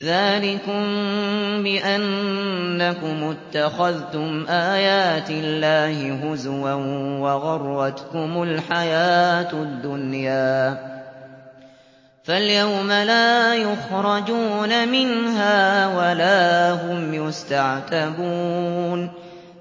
ذَٰلِكُم بِأَنَّكُمُ اتَّخَذْتُمْ آيَاتِ اللَّهِ هُزُوًا وَغَرَّتْكُمُ الْحَيَاةُ الدُّنْيَا ۚ فَالْيَوْمَ لَا يُخْرَجُونَ مِنْهَا وَلَا هُمْ يُسْتَعْتَبُونَ